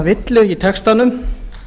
villu í textanum